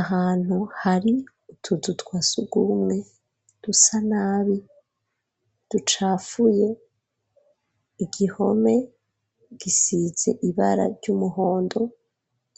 Ahantu hari ututuzu twasugumwe dusa nabi ducafuye, igihome gisize ibara ry'umuhondo